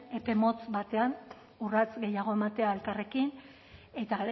epe motz batean urrats gehiago ematea elkarrekin eta